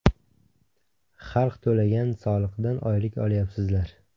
Xalq to‘lagan soliqdan oylik olyapsizlar!